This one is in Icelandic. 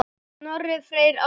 Snorri Freyr Ákason.